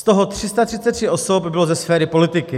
Z toho 333 osob bylo ze sféry politiky.